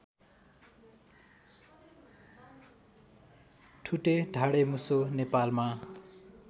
ठुटे ढाडेमुसो नेपालमा